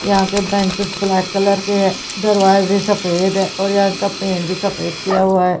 यहां के benches black colour के दरवाजे सफेद है और यहां का पेड़ भी सफेद किया हुआ है।